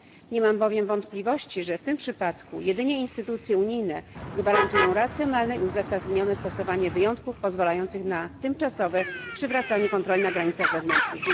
Nie mam bowiem wątpliwości, że w tym przypadku jedynie instytucje unijne gwarantują racjonalne i uzasadnione stosowanie wyjątków pozwalających na tymczasowe przywracanie kontroli na granicach wewnętrznych.